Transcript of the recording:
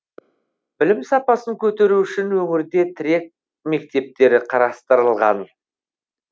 білім сапасын көтеру үшін өңірде тірек мектептері қарастырылған